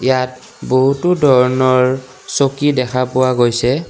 ইয়াত বহুতো ধৰণৰ চকী দেখা পোৱা গৈছে।